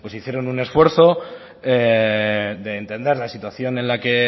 hicieron un esfuerzo de entender la situación en la que